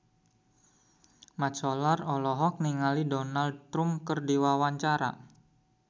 Mat Solar olohok ningali Donald Trump keur diwawancara